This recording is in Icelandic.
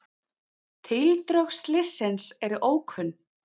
Tildrög slyssins eru ókunn.